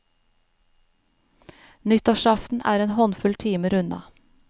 Nyttårsaften er en håndfull timer unna.